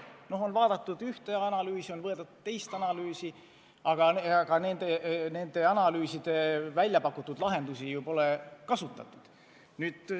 Noh, on vaadatud ühte analüüsi, on vaadatud teist analüüsi, aga nendes analüüsides välja pakutud lahendusi pole kasutatud.